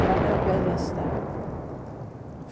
A mãe era pianista.